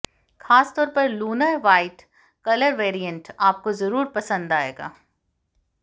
खास तौर पर लूनर व्हाइट कलर वेरिएंट आपको जरूर पसंद आएगा